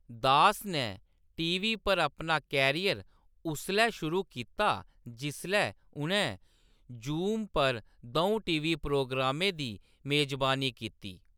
दास नै टी.वी. पर अपना करियर उसलै शुरू कीता जिसलै उʼनैं जूम पर द'ऊं टी.वी. प्रोग्रामें दी मेजबानी कीती।